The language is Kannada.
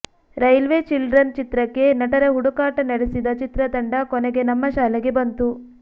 ರೈಲ್ವೆ ಚಿಲ್ಡ್ರನ್ ಚಿತ್ರಕ್ಕೆ ನಟರ ಹುಡುಕಾಟ ನಡೆಸಿದ ಚಿತ್ರತಂಡ ಕೊನೆಗೆ ನಮ್ಮ ಶಾಲೆಗೆ ಬಂತು